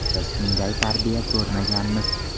Biz unday tarbiya ko‘rmaganmiz.